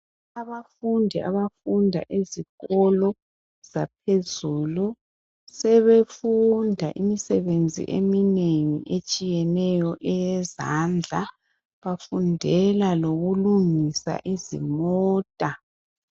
Abafundi bayafunda ezikolo zaphezulu sebefunda imisebenzi eminengi etshiyeneyo eyezandla bafundela lokulungisa izimota